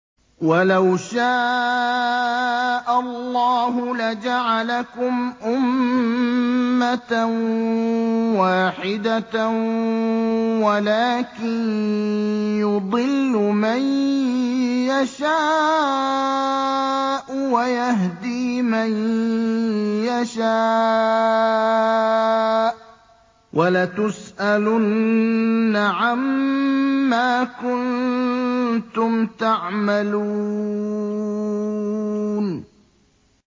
وَلَوْ شَاءَ اللَّهُ لَجَعَلَكُمْ أُمَّةً وَاحِدَةً وَلَٰكِن يُضِلُّ مَن يَشَاءُ وَيَهْدِي مَن يَشَاءُ ۚ وَلَتُسْأَلُنَّ عَمَّا كُنتُمْ تَعْمَلُونَ